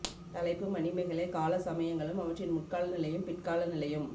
தலைப்பு மணிமேகலை கால சமயங்களும் அவற்றின் முற்கால நிலையும் பிற்கால நிலையும்